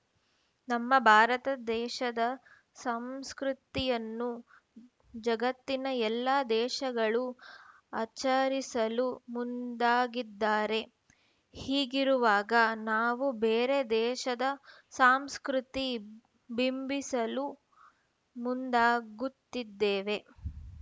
ನಮ್ಮ ಭಾರತ ದೇಶದ ಸಂಸ್ಕೃತಿಯನ್ನು ಜಗತ್ತಿನ ಎಲ್ಲ ದೇಶಗಳು ಆಚರಿಸಲು ಮುಂದಾಗಿದ್ದಾರೆ ಹೀಗಿರುವಾಗ ನಾವು ಬೇರೆ ದೇಶದ ಸಾಂಸ್ಕೃತಿ ಬಿಂಬಿಸಲು ಮುಂದಾಗುತ್ತಿದ್ದೇವೆ